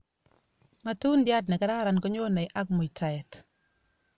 matundiat nekararan konyonei ak muitaet